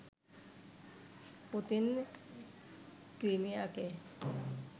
Putin ক্রিমিয়াকে